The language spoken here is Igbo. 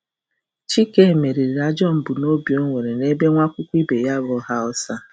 Chike meriri ajọ mbunobi o nwere nebe nwa akwụkwọ ibe ya bụ um Hausa um.